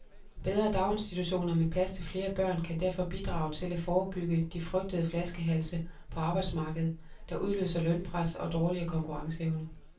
Bedre daginstitutioner med plads til flere børn kan derfor bidrage til at forebygge de frygtede flaskehalse på arbejdsmarkedet, der udløser lønpres og dårligere konkurrenceevne.